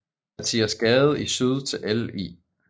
Mathias Gade i syd til Ll